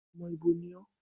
Ọmọ ibo ni ọ́?